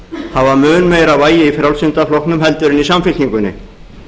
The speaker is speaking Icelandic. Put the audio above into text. hafa mun meira vægi í frjálslynda flokknum heldur en í samfylkingunni